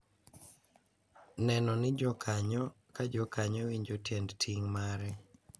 Neno ni jokanyo ka jokanyo winjo tiend ting’ mare